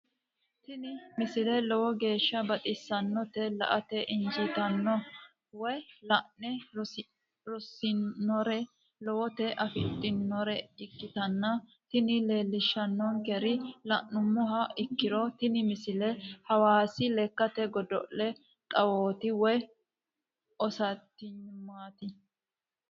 tini misile lowo geeshsha baxissannote la"ate injiitanno woy la'ne ronsannire lowote afidhinota ikkitanna tini leellishshannonkeri la'nummoha ikkiro tini misile hawaasi lekkate godo'le xawooti woy ostaadiyeemete.